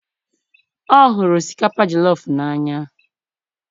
o huru osikapa jelof n'anya